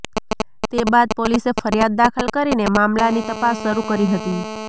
તે બાદ પોલીસે ફરિયાદ દાખલ કરીને મામલાની તપાસ શરૂ કરી હતી